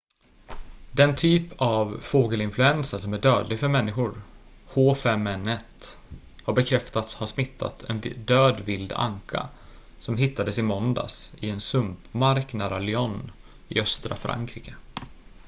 den typ av fågelinfluensa som är dödlig för människor h5n1 har bekräftats ha smittat en död vild anka som hittades i måndags i en sumpmark nära lyon i östra frankrike